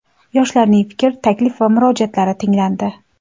Yoshlarning fikr, taklif va murojaatlari tinglandi.